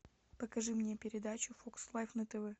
покажи мне передачу фокс лайф на тв